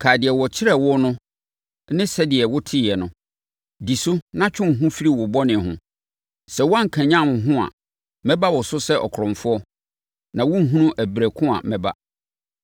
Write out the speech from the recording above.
Kae deɛ wɔkyerɛɛ wo no ne sɛdeɛ woteeɛ no. Di so na twe wo ho firi wo bɔne ho. Sɛ woankanyane wo ho a, mɛba wo so sɛ ɔkorɔmfoɔ, na worenhunu ɛberɛ ko a mɛba.